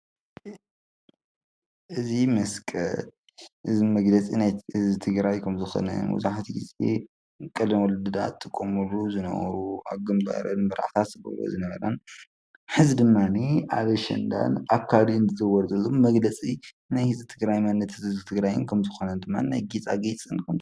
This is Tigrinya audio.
እዛ መስቀል እዚ መግለፂ ናይ ህዝቢ ትግራይ ኸም ዝኾነ መብዛሕቲኡ ግዜ ናይ ቀደም ወለድና ዝጥቀምሉ ዝነበሩ ኣብ ግንባረን ንመርዓ ዝጥቀማሉ ዝነበራ ሐዚ ድማ ኣብ እዋን ኣሸንዳን ኣብ ኻልኦትን መግለፂ መንነት ህዝቢ ትግራይ እዩ።